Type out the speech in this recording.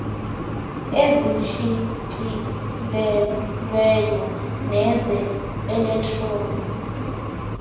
ezishicilelweyo neze elektroni